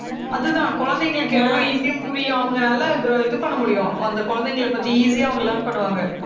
அதுதான், குழந்தைங்களுக்கு எவ்வளவு easy ஆ புரியும். அவங்க நல்லா இது பண்ண முடியும். அந்த குழந்தைங்களைப் பத்தி easy ஆ அவங்க learn பண்ணுவாங்க